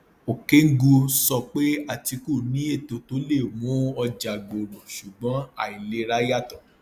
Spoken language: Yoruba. okengwu sọ pé atiku ní ètò tó le mú ọjà gbòòrò ṣùgbọn àìlera yàtọ